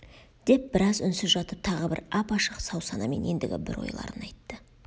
деп біраз үнсіз жатып тағы бір ап-ашық сау-санамен ендігі бір ойларын айтты